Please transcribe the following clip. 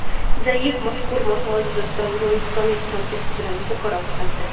Zayev mazkur masala yuzasidan yunonistonlik hamkasbi bilan muzokara o‘tkazdi.